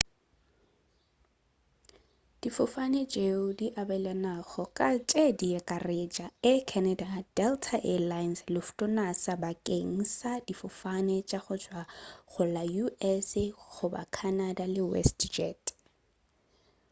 difofane tšeo di abelanago ka tše diakaretša air canada delta air lines lufthansa bakeng sa difofane tša go tšwa go la u.s. goba canada le westjet